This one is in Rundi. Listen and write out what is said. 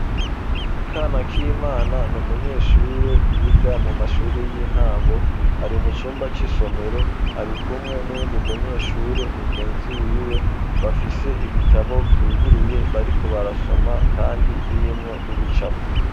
kanakimana niumunyeshure yiga mu mashuri y'intango ari mu cumba c'isomero ari kumwe n'uwundi munyeshure mugenzi wiwe bafise ibitabo byuguruye bariko barasoma kandi birimwo n'ibicapo.